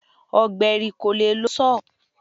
Ọ̀gbẹ̀rì kò le lo Sọ́họ̀.